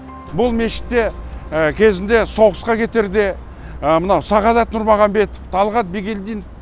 бұл мешітте кезінде соғысқа кетерде мынау сағадат нұрмағамбетов талғат бигелдинов